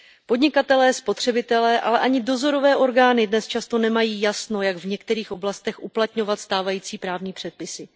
Podnikatelé, spotřebitelé, ale ani dozorové orgány dnes často nemají jasno, jak v některých oblastech uplatňovat stávající právní předpisy.